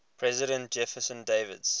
president jefferson davis